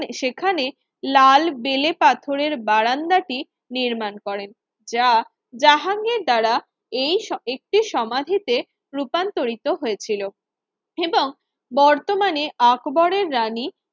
সেখানে লাল বেলে পাথরের বারান্দাটি নির্মাণ করেন যা জাহাঙ্গীর দ্বারা এই একটি সমাধিতে রূপান্তরিত হয়েছিল এবং বর্তমানে আকবরের রানী